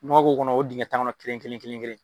Nɔgɔ k'o kɔnɔ o dingɛ tan kɔnɔ kelen kelen kelen .